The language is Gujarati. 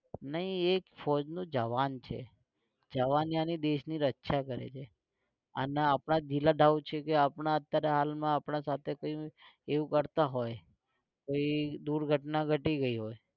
નહી એ ફૌજનો જવાન છે. જવાન યાની દેશની રક્ષા કરે જે અને આપડા છે કે આપણાં અત્યારે હાલમાં આપણાં સાથે કોઈ એવું કરતાં હોય તો ઇ દુર્ઘટના ઘટી ગઈ હોય